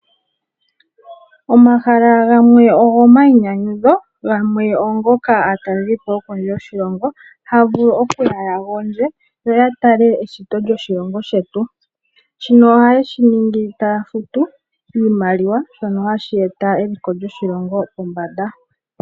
Omahala gamwe ogo mainyanyudho gamwe ogongoka aatalelipo yokondje yoshilongo haya vulu okuya ya gondje yo yatale eshito lyoshilongo shetu, shino oha yeshi ningi taya futu iimaliwa shono hashi eta eliko lyoshilongo pombanda .